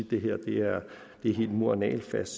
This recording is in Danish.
det her er helt mur og nagelfast